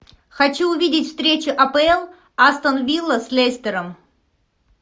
хочу увидеть встречу апл астон вилла с лестером